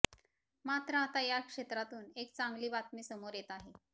मात्र आता या क्षेत्रातून एक चांगली बातमी समोर येते आहे